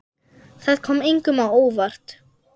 Það kom engum á óvart.